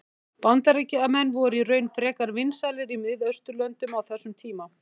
bandaríkjamenn voru í raun frekar vinsælir í miðausturlöndum á þessum tíma